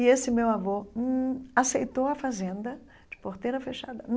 E esse meu avô hum aceitou a fazenda de porteira fechada.